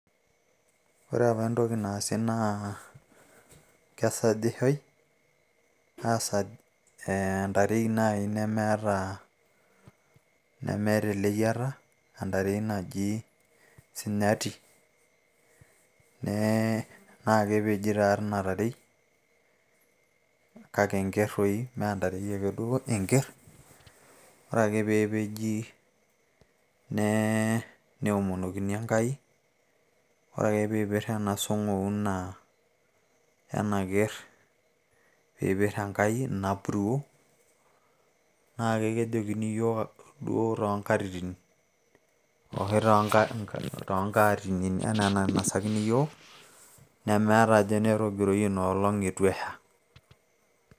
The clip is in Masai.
ore apa entoki naasi naa kesajishoi aasaj entarei naaji nemeeta ...nemeeta eleyiata entarei naji sinyati nee naa kepeji taa tii ina tarei kake enkerr toi mee entarei ake duo enkerr ore ake peepeji nee neomonokini Enkai ore ake piipirr ena song'ouna ena kerr piipirr enkai ina puruo naa ke kejokini iyiook duo toonkatitin aashu toonkatinin enaa enainasakini yiook nemeeta ajo enetogiroyie inoolong eitu esha.